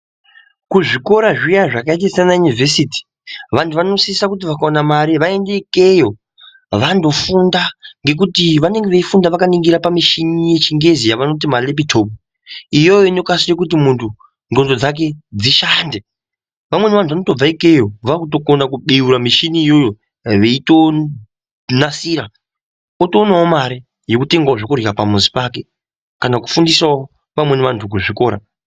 Kuzvikora zviya zvakaita saana yunivhesiti vandu vanosisa kuti vakaona mari vaenda ikweyo vandofunda ngenguti vanenge veifunda vakaningira pamushini yechingezi yavanoti malaptop iyoyo inokwanisa kuti mundu gqondo dzake dzishande vamweni vandu vanobva ikweyo vakutokuna kubeura mishini iyoyo veitonasira otoonaeo Mari yekuona zvekudya pamuzi pake kana kufundisewo amweni andu kuzvikora